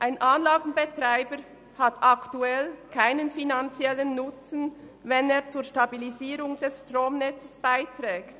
Ein Anlagenbetreiber hat aktuell keinen finanziellen Nutzen, wenn er zur Stabilisierung des Stromnetzes beiträgt.